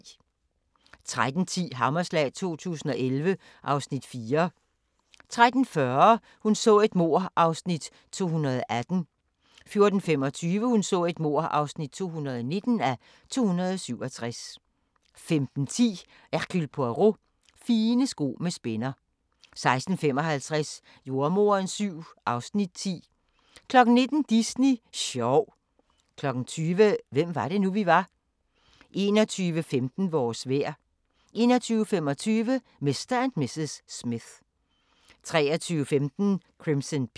13:10: Hammerslag 2011 (Afs. 4) 13:40: Hun så et mord (218:267) 14:25: Hun så et mord (219:267) 15:10: Hercule Poirot: Fine sko med spænder 16:55: Jordemoderen VII (Afs. 10) 19:00: Disney sjov 20:00: Hvem var det nu, vi var? 21:15: Vores vejr 21:25: Mr. & Mrs. Smith 23:15: Crimson Peak